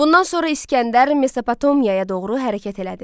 Bundan sonra İsgəndər Mesopotomiyaya doğru hərəkət elədi.